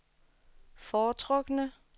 foretrukne